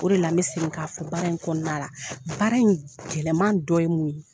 O de la bɛ segin k'a fɔ baara in kɔnɔna la, baara in gɛlɛman dɔ ye mun ye?